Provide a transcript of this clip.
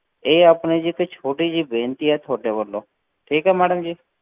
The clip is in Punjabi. ਇਹ ਆਪਣੀ ਜੀ ਇੱਕ ਛੋਟੀ ਜਿਹੀ ਬੇਨਤੀ ਹੈ ਤੁਹਾਡੇ ਵੱਲੋਂ, ਠੀਕ ਹੈ madam ਜੀ।